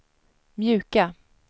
mjuka